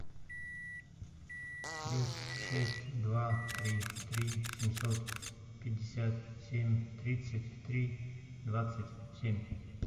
плюс шесть два три три семьсот пятьдесят семь тридцать три двадцать семь